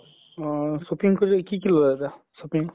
অহ shopping কি কি ললা দা shopping